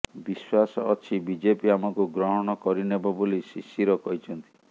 ବିଶ୍ୱାସ ଅଛି ବିଜେପି ଆମକୁ ଗ୍ରହଣ କରିନେବ ବୋଲି ଶିଶିର କହିଛନ୍ତି